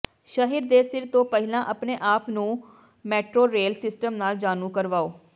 ਸ਼ਹਿਰ ਦੇ ਸਿਰ ਤੋਂ ਪਹਿਲਾਂ ਆਪਣੇ ਆਪ ਨੂੰ ਮੇਟਰੋਰੇਲ ਸਿਸਟਮ ਨਾਲ ਜਾਣੂ ਕਰਵਾਓ